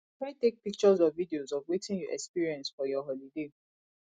try take pictures or videos of wetin you experience for your holiday